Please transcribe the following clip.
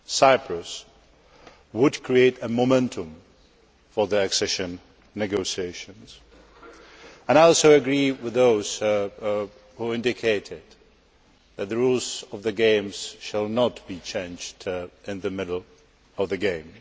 Cyprus, would create a momentum for the accession negotiations. I also agree with those who indicated that the rules of the game should not be changed in the middle of the game.